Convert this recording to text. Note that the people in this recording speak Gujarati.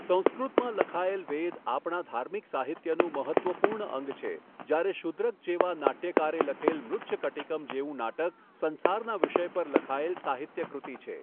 સંસ્કૃતમાં લખાયેલ વેદ આપણા ધાર્મિક સાહિત્યનું મહત્ત્વપુર્ણ અંગ છે જ્યારે શૂદ્રક જેવા નાટ્યકારે લખેલ મૃચ્છકટિકમ જેવું નાટક સંસારના વિષય પર લખાયેલ સાહિત્ય કૃતિ છે.